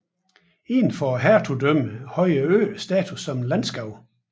Indenfor hertugdømmet havde øen status som et landskab